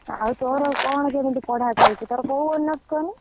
ଆଉ, ତୋର କଣ କେମିତି ପଢା ଚାଲିଛି ତୋର କୋଉ honours କହନି?